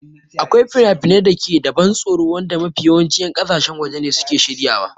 Akwai finafinai da ke da ban tsoro wanda mafi yawancin 'yan ƙasashen waje ne suke shiryawa.